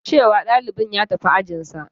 Ce wa ɗalibin ya tafi ajinsa.